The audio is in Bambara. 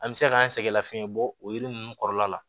An bɛ se k'an sɛgɛn lafiyɛn bɔ o yiri ninnu kɔrɔ la